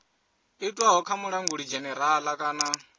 itwaho kha mulanguli dzhenerala kana